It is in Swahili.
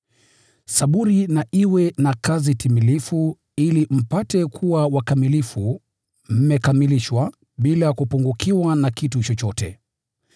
Saburi na iwe na kazi timilifu, ili mpate kuwa wakamilifu, mmekamilishwa, bila kupungukiwa na kitu chochote.